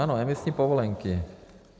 Ano, emisní povolenky.